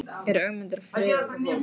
Er Ögmundur að friða það fólk?